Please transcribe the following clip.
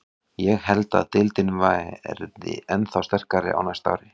Ég held að deildin verði ennþá sterkari á næsta ári.